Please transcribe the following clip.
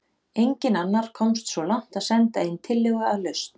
Enginn annar komst svo langt að senda inn tillögu að lausn.